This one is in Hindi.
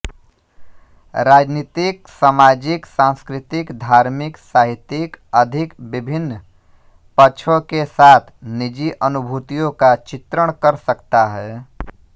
राजनीतिकसामाजिकसांस्कृतिकधार्मिक साहित्यिक अधिक विभिन्न पक्षों के साथ निजी अनुभूतियों का चित्रण कर सकता है